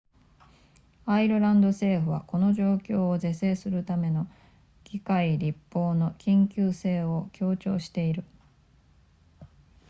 アイルランド政府はこの状況を是正するための議会立法の緊急性を強調している